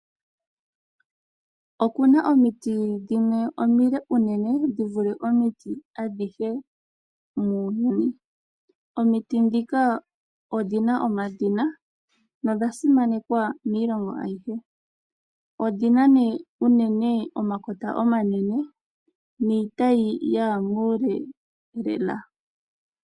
Okuna omiti dhimwe omile unene dhi vule omiti adhihe muuyuni. Omiti ndhika odhina omadhina nodha simanekwa miilongo ayihe. Odhina nee unene omakota omanene niitayi yaya muule lela.